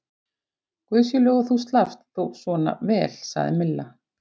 Guði sé lof að þú slappst þó svona vel sagði Milla.